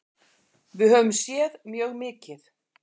Við höfum séð mjög mikið.